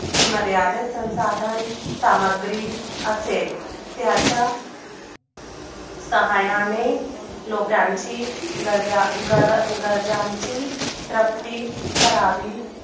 ची मर्यादित संसाधन सामग्रीक असेल त्याच्या साह्याने लोकांची गरजाची प्राप्ती करावी